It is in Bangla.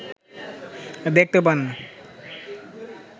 দেখতে পান